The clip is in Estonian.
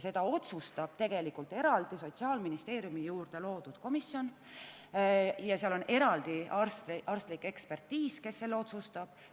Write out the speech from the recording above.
Seda otsustab tegelikult Sotsiaalministeeriumi juurde loodud eraldi komisjon ja seal tehakse eraldi arstlik ekspertiis, mille tulemusena langetatakse otsus.